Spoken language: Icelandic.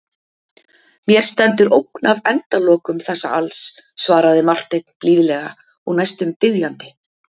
Mér stendur ógn af endalokum þessa alls, svaraði Marteinn blíðlega og næstum biðjandi.